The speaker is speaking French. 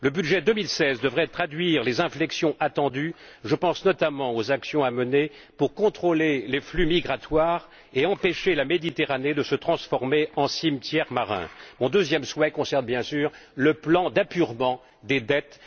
Le budget 2016 devrait traduire les inflexions attendues je pense notamment aux actions à mener pour contrôler les flux migratoires et empêcher la Méditerranée de se transformer en cimetière marin. Mon deuxième souhait concerne bien sûr le plan d'apurement des dettes.